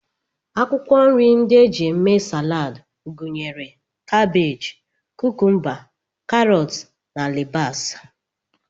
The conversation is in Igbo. Akwụkwọ nri ndị e ji eme Salad gụnyere kabej, kukumba, karọt, alibasa